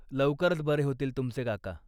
लवकरच बरे होतील तुमचे काका.